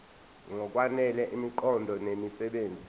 ngokwanele imiqondo nemisebenzi